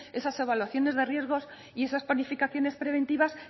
esas evaluaciones de riesgos y esas planificaciones preventivas